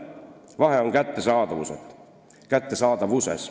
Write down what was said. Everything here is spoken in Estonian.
Vahe on kättesaadavuses.